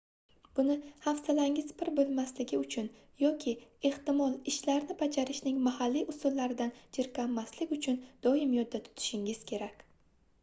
buni hafsalangiz pir boʻlmasligi uchun yoki ehtimol ishlarni bajarishning mahalliy usullaridan jirkanmaslik uchun doim yodda tutishingiz kerak